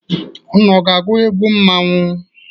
Unu ga-agwụ egwu mmọnwụ.?